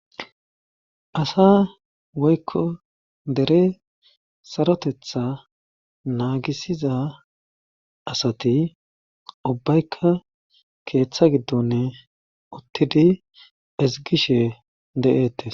asa woykko dere sarotetha naagisiza asati ubbaykka keeththa giddonne uttidi izgishe de7eette